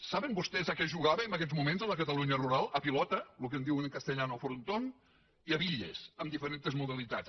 saben vostès a què es jugava en aguests moments a la catalunya rural a pilota el que en diuen en castellà frontón i a bitlles amb diferents modalitats